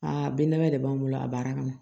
Aa bin labɛn de b'an bolo a baara kɔnɔ